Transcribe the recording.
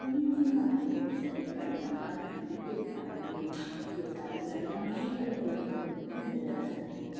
वही हम यहाँ पर बहुत सारी गाड़ियां पार्क कि हुई देख पा रहे हैं ये सारी गाड़ियां हमे अलग-अलग रंग कि नजर आ रही हैं।